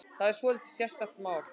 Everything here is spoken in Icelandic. Þetta er svolítið sérstakt mál.